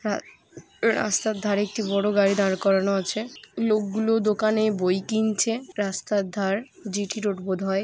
রা--রাস্তার ধারে একটি বড় গাড়ি দাঁড় করানো আছে লোক গুলো দোকানে বই কিনছে রাস্তার ধার জি.টি রোড বোধহয় ।